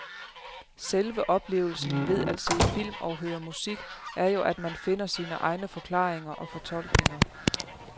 Selve oplevelsen ved at se film og høre musik er jo at man finder sine egne forklaringer og fortolkninger.